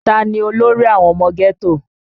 Ta ni olórí àwọn ọmọ ghetto?